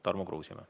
Tarmo Kruusimäe.